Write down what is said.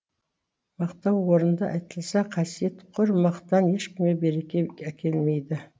мақтау орынды айтылса қасиет құр мақтан ешкімге береке әкелмейді